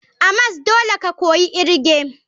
A mas dole ka koyi irge.